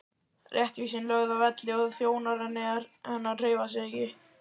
Réttvísin lögð að velli og þjónar hennar hreyfa sig ekki!